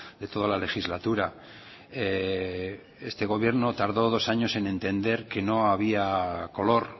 de toda la legislatura este gobierno tardó dos años en entender que no había color